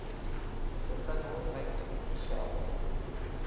mo sesane wo o atišago